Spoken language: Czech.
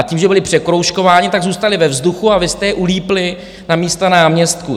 A tím, že byli překroužkováni, tak zůstali ve vzduchu a vy jste je ulípli na místa náměstků.